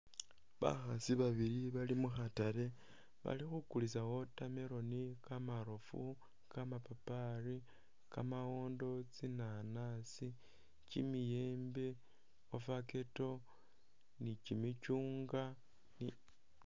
Bakhaasi babili bali mu khatale bali khukulisa watermelon, kamarofu, kamapapali, kamawondo, tsinanasi, kimiyembe, avocado, ni kimicyungwa.